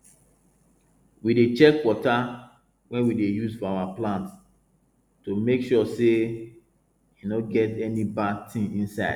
we dey check water wey we dey use for our plants to make sure say e no get any bad thing inside